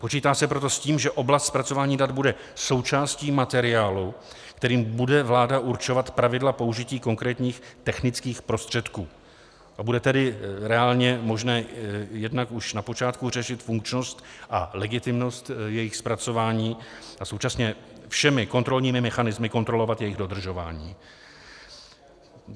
Počítá se proto s tím, že oblast zpracování dat bude součástí materiálu, kterým bude vláda určovat pravidla použití konkrétních technických prostředků, a bude tedy reálně možné jednak už na počátku řešit funkčnost a legitimnost jejich zpracování a současně všemi kontrolními mechanismy kontrolovat jejich dodržování.